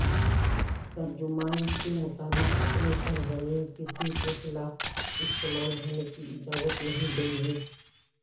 ترجمان کے مطابق اپنی سرزمین کسی کے خلاف استعمال ہونے کی اجازت نہیں دیں گے